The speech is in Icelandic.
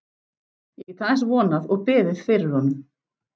Ég get aðeins vonað og beðið fyrir honum.